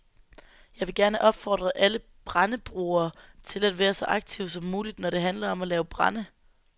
Jeg vil gerne opfordre alle brændebrugere til at være så aktive som muligt, når det handler om at lave brænde.